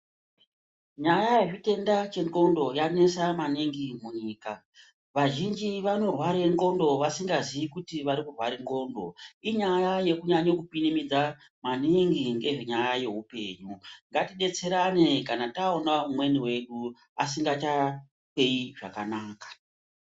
Nyaya yezvitenda chengondo yanesa maningi munyika vazhinji vanorwarae ndxondo vasingazii kuti vari kurware ndxondo inyaya yekunyanye kupinimidza maningi ngezvenyaya yeupenyu ngatidetserane kana taona umweni wedu asingachahleyi zvakanaka.